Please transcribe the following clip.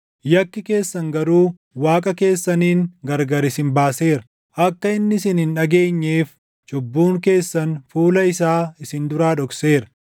Yakki keessan garuu Waaqa keessaniin gargar isin baaseera; akka inni isin hin dhageenyeef, cubbuun keessan fuula isaa isin duraa dhokseera.